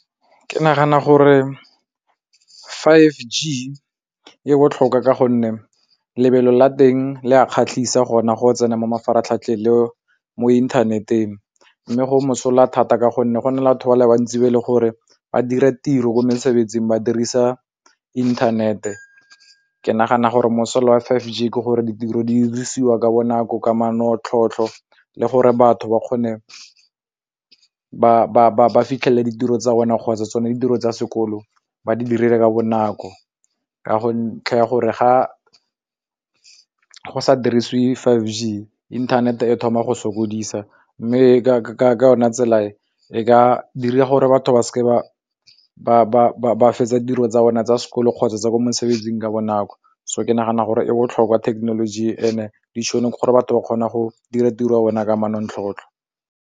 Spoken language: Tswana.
Ke nagana gore five G e botlhokwa ka gonne lebelo la teng le a kgatlhisa gona go tsena mo mafaratlhatlheng le mo internet-eng, mme go mosola thata ka gonne go na le batho ba le bantsi ba e leng gore ba dira tiro ko mesebetsing ba dirisa inthanete. Ke nagana gore mosola wa five G ke gore ditiro di dirisiwa ka bonako ka manontlhotlho le gore batho ba kgone ba fitlhelele ditiro tsa bona kgotsa tsone ditiro tsa sekolo ba di dirile ka bonako, ka gore ga go sa dirisiwe five G internet e thoma go sokodisa mme ka yone tsela e ka dira gore batho ba seke ba fetsa tiro tsa rona tsa sekolo kgotsa tsa ko mosebetsing ka bonako. So ke nagana gore e botlhokwa technology and-e ditšhonong gore batho ba kgona go dira tiro ya bona ka manontlhotlho.